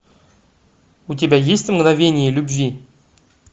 у тебя есть мгновение любви